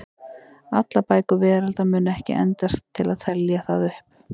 Allar bækur veraldar mundu ekki endast til að telja það upp.